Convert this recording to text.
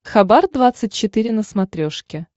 хабар двадцать четыре на смотрешке